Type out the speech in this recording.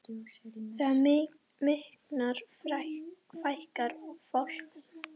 Þegar það minnkar fækkar fálkum.